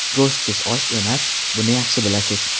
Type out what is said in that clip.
Go‘shtsiz osh osh emas, buni yaxshi bilasiz.